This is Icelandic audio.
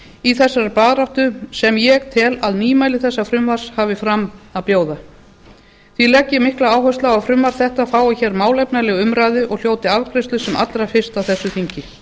í þessari baráttu sem ég tel að nýmæli þessa frumvarps hafi fram á að bjóða ég legg því mikla áherslu á að frumvarp þetta fái hér málefnalega umræðu og hljóti afgreiðslu sem allra fyrst á þessu þingi